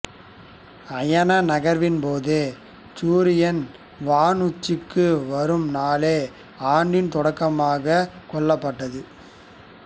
அயனநகர்வின் போது சூரியன் வான் உச்சிக்கு வரும் நாளே ஆண்டின் தொடக்கமாகக் கொள்ளப்பட்டது